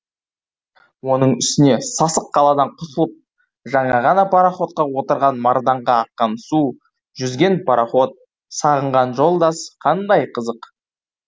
оның үстіне сасық қаладан құтылып жаңа ғана пароходқа отырған марданға аққан су жүзген пароход сағынған жолдас қандай қызық